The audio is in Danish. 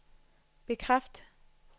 bekræft